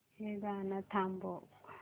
हे गाणं थांबव